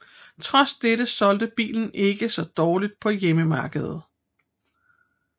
Trods dette solgte bilen ikke så dårligt på hjemmemarkedet